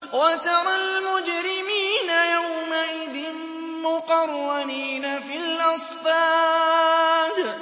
وَتَرَى الْمُجْرِمِينَ يَوْمَئِذٍ مُّقَرَّنِينَ فِي الْأَصْفَادِ